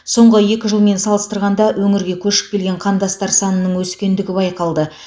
соңғы екі жылмен салыстырғанда өңірге көшіп келген қандастар санының өскендігі байқалды